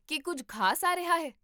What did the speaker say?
ਕੀ ਕੁੱਝ ਖ਼ਾਸ ਆ ਰਿਹਾ ਹੈ?